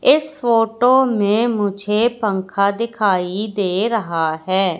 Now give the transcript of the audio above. इस फोटो मे मुझे पंखा दिखाई दे रहा है।